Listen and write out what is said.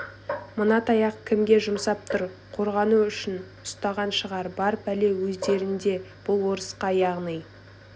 мына таяқты кімге жұмсап тұр қорғану үшін ұстаған шығар бар пәле өздерінде бұл орысқа яғни